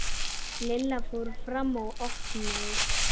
Lilla fór fram og opnaði.